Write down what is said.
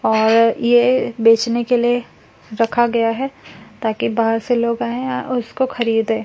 और ये बेचने के लिए रखा गया है ताकि बाहर से लोग आये और उसको खरीदे।